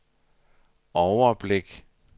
overblik